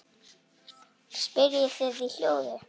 spyrjið þið í hljóði.